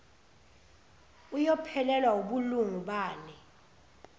iyophelelwa wubulungu bale